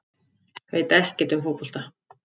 Veit ekkert um fótbolta